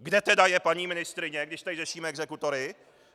Kde teda je paní ministryně, když tady řešíme exekutory?